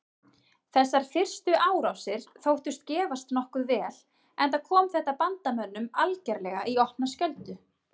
Þessar fyrstu árásir þóttust gefast nokkuð vel enda kom þetta bandamönnum algerlega í opna skjöldu.